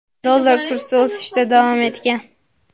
dollar kursi o‘sishda davom etgan.